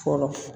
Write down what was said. Fɔlɔ